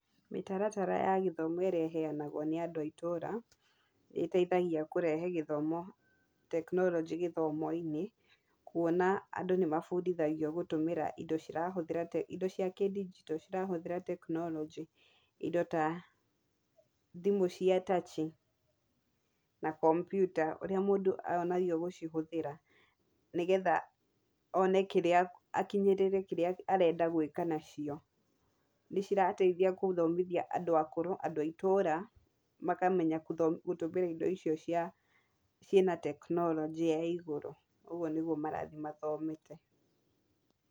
Mĩtaratara ya gĩthomo ĩrĩa ĩheanagwo nĩ andũ a itũra, nĩ ĩteithagia kũrehe gĩthomo, teknoronjĩ gĩthomo-inĩ , kuona andũ nĩ mabundithagio gũtũmĩra indo cirahũthĩra indo cia kĩndigito cirahũthĩra teknoronjĩ , indo ta thimũ cia tachi ,na kompyuta ũrĩa mũndũ onagio gũcihũthĩra, nĩgetha one kĩrĩa akinyĩrĩire kĩrĩa arenda gwĩka nacio, nĩ cirateithia gũthomithia andũ akũrũ, andũ a itũra makamenya gũtho gũtũmĩra indo icio cia cina kĩteknorojĩ ya igũrũ, ũguo nĩguo marathiĩ mathomete.